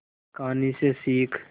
कहानी से सीख